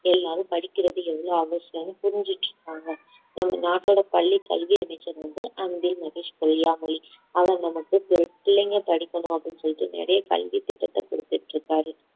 எல்லாரும் படிக்கிறது எவ்ளோ அவசியம்னு புரிஞ்சிட்டு இருக்காங்க நம் நாட்டோட பள்ளி கல்வி அமைச்சர் வந்து அன்பில் மகேஷ் பொய்யாமொழி அவர் நமக்கு பிள்ளைங்க படிக்கணும் அப்படின்னு சொல்லிட்டு நிறைய கல்வி திட்டத்தை கொடுத்துட்டு இருக்காரு